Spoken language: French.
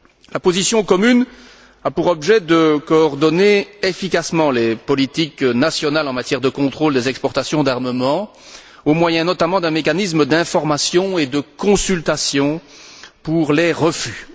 La position commune a pour objet de coordonner efficacement les politiques nationales en matière de contrôle des exportations d'armements au moyen, notamment, d'un mécanisme d'information et de consultation pour les refus.